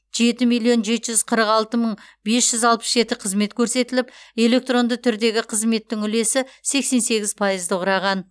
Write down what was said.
жеті миллион жеті жүз қырық алты мың бес жүз алпыс жеті қызмет көрсетіліп электронды түрдегі қызметтің үлесі сексен сегіз пайызды құраған